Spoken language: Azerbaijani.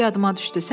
indi yadıma düşdü.